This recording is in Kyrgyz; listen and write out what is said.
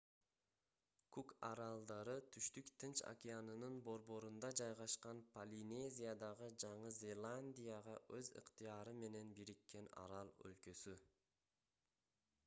кук аралдары түштүк тынч океанынын борборунда жайгашкан полинезиядагы жаңы зеландияга өз ыктыяры менен бириккен арал өлкөсү